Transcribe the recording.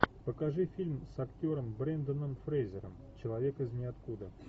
покажи фильм с актером бренданом фрейзером человек из ниоткуда